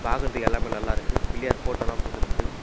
பாக்குறதுக்கு எல்லாமே நல்லா இருக்கு பிள்ளையார் போட்டோலாம் போட்டுருக்கு.